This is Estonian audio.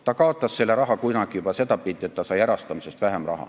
Ta kaotas selle raha kunagi juba sel moel, et ta sai erastamisest vähem raha.